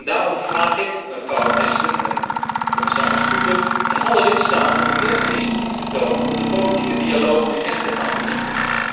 Daarom vraag ik mevrouw Ashton, commissaris Füle en alle lidstaten om meer initiatief te tonen om de politieke dialoog nu echt te gaan verdiepen.